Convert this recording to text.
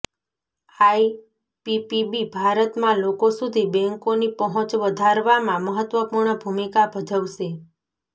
IPPB ભારતમાં લોકો સુધી બેંકોની પહોંચ વધારવામાં મહત્વપૂર્ણ ભૂમિકા ભજવશે